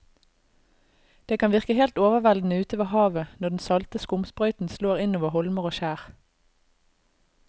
Det kan virke helt overveldende ute ved havet når den salte skumsprøyten slår innover holmer og skjær.